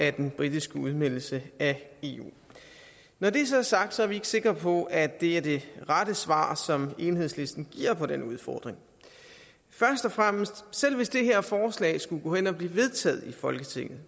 af den britiske udmeldelse af eu når det så er sagt er vi ikke sikre på at det er det rette svar som enhedslisten giver på den udfordring først og fremmest selv hvis det her forslag skulle gå hen at blive vedtaget i folketinget